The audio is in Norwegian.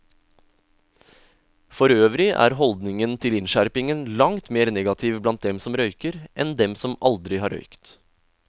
Forøvrig er holdningen til innskjerpingen langt mer negativ blant dem som røyker, enn dem som aldri har røykt.